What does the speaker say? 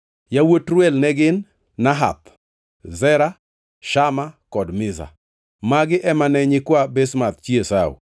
Yawuot Reuel ne gin: Nahath, Zera, Shama kod Miza. Magi ema ne nyikwa Basemath chi Esau.